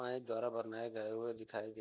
pipe द्वारा भरना है गया हुआ दिखाई दे --